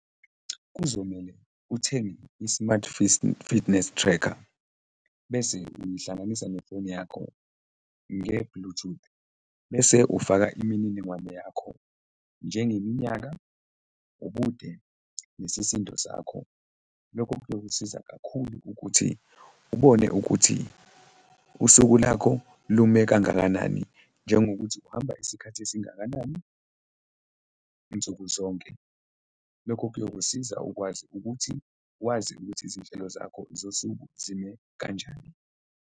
Kuzomele uthenge i-smart fitness tracker bese uyihlanganisa nefoni yakho nge-Bluetooth bese ufaka imininingwane yakho njengeminyaka, ubude nesisindo sakho. Lokho kuyokusiza kakhulu ukuthi ubone ukuthi usuku lakho lume kangakanani, njengokuthi uhamba isikhathi esingakanani nsuku zonke, lokho kuyokusiza ukwazi ukuthi wazi ukuthi izinhlelo zakho zosuku zime kanjani.